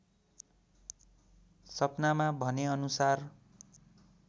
सपनामा भनेअनुसार